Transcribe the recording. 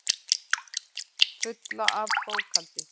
Fulla af bókhaldi.